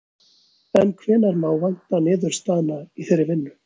En hvenær má vænta niðurstaðna í þeirri vinnu?